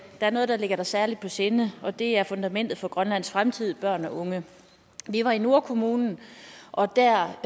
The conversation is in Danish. er noget der ligger dig særlig på sinde og det er fundamentet for grønlands fremtid børn og unge vi var i nordkommunen og der